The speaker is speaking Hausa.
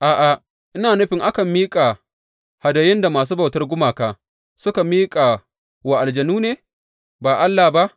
A’a, ina nufin akan miƙa hadayun da masu bautar gumaka suka wa aljanu ne, ba Allah ba.